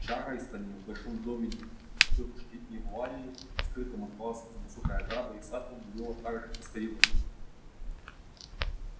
в чарльстоне в большом доме тётушки ивалли скрытом от глаз за высокой оградой и садом было так же тоскливо